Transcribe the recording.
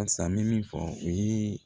Halisa n bɛ min fɔ u ye